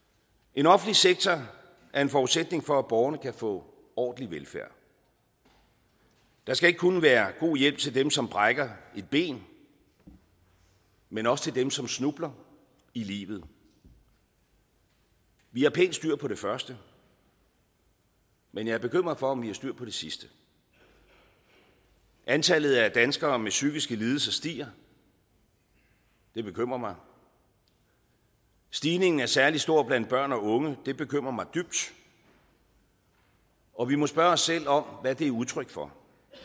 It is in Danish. en offentlig sektor er en forudsætning for at borgerne kan få ordentlig velfærd der skal ikke kun være god hjælp til dem som brækker et ben men også til dem som snubler i livet vi har pænt styr på det første men jeg er bekymret for om vi har styr på det sidste antallet af danskere med psykiske lidelser stiger det bekymrer mig stigningen er særlig stor blandt børn og unge det bekymrer mig dybt og vi må spørge os selv om hvad det er udtryk for